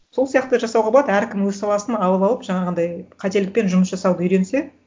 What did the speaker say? сол сияқты жасауға болады әркім өз саласын алып алып жаңағындай қателікпен жұмыс жасауды үйренсе